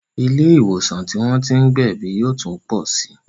Ilé ìwòsàn tí wọ́n tí ń gbẹ̀bí yóò tún pọ sí